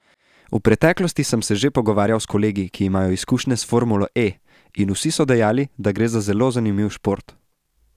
V preteklosti sem se že pogovarjal s kolegi, ki imajo izkušnje s formulo E, in vsi so dejali, da gre za zelo zanimiv šport.